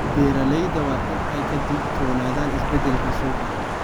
Beeralayda waa in ay ka digtoonaadaan isbeddelka suuqa.